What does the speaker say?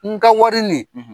N ka wari nin, .